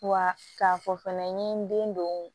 Wa k'a fɔ fana n ye n den don